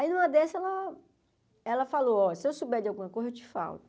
Aí numa dessa ela ela falou, ó, se eu souber de alguma coisa eu te falo.